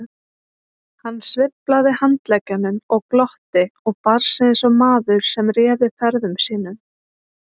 Hann sveiflaði handleggjunum og glotti og bar sig eins og maður sem réði ferðum sínum.